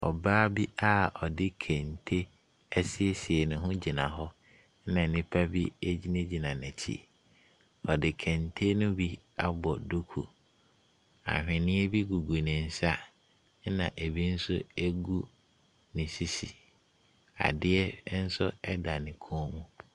Ɔbaa bi a ɔde kente asiesie ne ho gyina hɔ, ɛna nnipa bi gyinagyina n'akyi. Ɔde kente no bi abɔ duku. Ahweneɛ gugu ne nsa, ɛna ɛbi nso gu ne sisi. Adeɛ nso da ne kɔn mu.